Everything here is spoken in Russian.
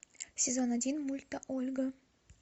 сезон один мульта ольга